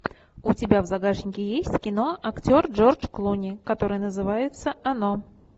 у тебя в загашнике есть кино актер джордж клуни которое называется оно